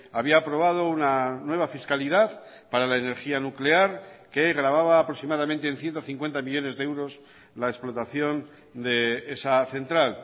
había aprobado una nueva fiscalidad para la energía nuclear que gravaba aproximadamente en ciento cincuenta millónes de euros la explotación de esa central